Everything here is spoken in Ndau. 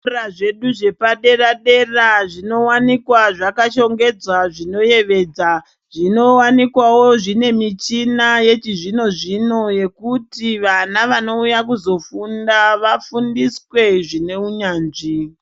Zvikora zvedu zvepadera dera zvinowanikwa zvakashongedzwa zvinoyevedza, zvinowanikwawo zvine michina yechizvino zvino zvekuti vana vanouya kuzofunda vafunde zvine unyanzvi.